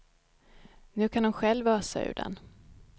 Nu kan hon själv ösa ur den.